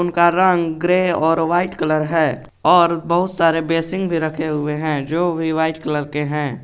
उनका रंग ग्रे और वाइट कलर है और बहुत सारे बेसिन भी रखे हुए हैं जो भी वाइट कलर के हैं।